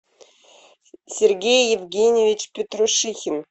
сергей евгеньевич петрушихин